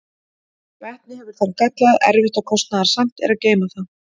vetni hefur þann galla að erfitt og kostnaðarsamt er að geyma það